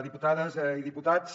diputades i diputats